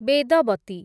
ବେଦବତୀ